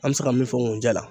An bɛ se ka min fɔ ŋunjɛ la